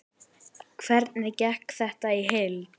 Hvernig gekk þetta í heild?